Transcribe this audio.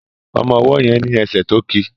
Ọmọ ọwó yen ní esè to kí.